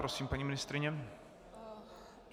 Prosím, paní ministryně.